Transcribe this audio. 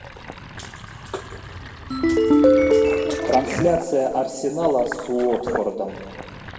трансляция арсенала с уотфордом